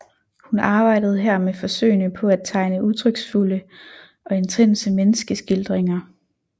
Hun arbejdede her med forsøgene på at tegne udtryksfulde og intense menneskeskildringer